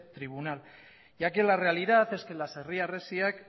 tribunal ya que la realidad es que las herri harresiak